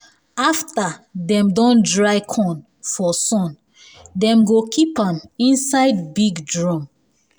after um dem don dry corn for sun dem go keep am inside um big drum